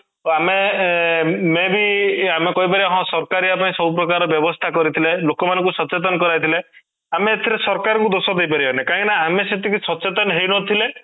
ତ ଆମେ ଅଂ may be ଆମେ କହିପାରିବା ହଁ ସରକାର ୟା ପାଇଁ ସବୁ ପ୍ରକାର ବ୍ୟବସ୍ଥା କରିଥିଲେ ଲୋକମାନଙ୍କୁ ସଚେତନ କରାଇଥିଲେ ଆମେ ଏଇଥିରେ ସରକାଙ୍କୁ ଦୋଷ ଦେଇପାରିବାନି କାହିଁକି ନା ଆମେ ସେତିକି ସଚେତନ ହେଇନଥିଲେ